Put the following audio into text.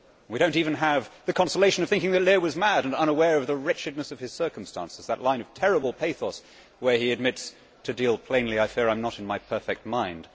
We do not even have the consolation of thinking that Lear was mad and unaware of the wretchedness of his circumstances that line of terrible pathos where he admits that, to deal plainly, I fear I am not in my perfect mind'.